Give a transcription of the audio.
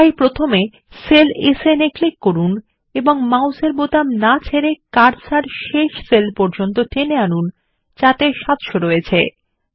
তাই প্রথমে cell SN এ ক্লিক করুন এবং মাউসের বোতাম না ছেড়ে কার্সার শেষ সেল পর্যন্ টেনে আনুন ত যাতে 700 আছে